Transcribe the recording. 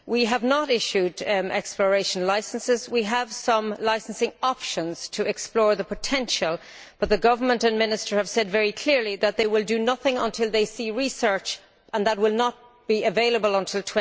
We have not issued exploration licences. We have some licensing options to explore the potential, but the government and minister have said very clearly that they will do nothing until they see research, and that will not be available until